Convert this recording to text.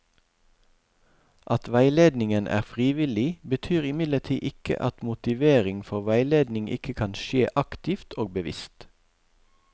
At veiledningen er frivillig, betyr imidlertid ikke at motivering for veiledning ikke kan skje aktivt og bevisst.